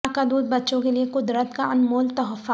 ماں کا دودھ بچوں کیلئے قد رت کا انمول تحفہ